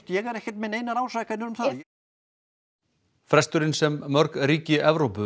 ég er ekkert með neinar ásakanir um það fresturinn sem mörg ríki Evrópu